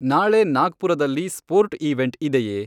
ನಾಳೆ ನಾಗ್ಪುರದಲ್ಲಿ sport event ಇದೆಯೇ